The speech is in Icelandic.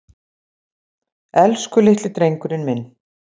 Elsku litli drengurinn minn.